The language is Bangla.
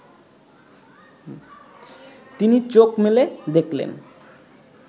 তিনি চোখ মেলে দেখলেন